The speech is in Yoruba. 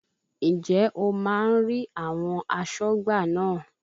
Ǹjẹ́ o máa ń rí àwọn asọ́gbà náà?